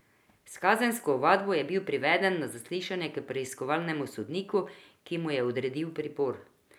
S kazensko ovadbo je bil priveden na zaslišanje k preiskovalnemu sodniku, ki mu je odredil pripor.